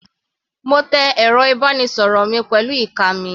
Mo tẹ ẹ̀rọ ìbánisọ̀rọ̀ mi pẹ̀lú ìka mi.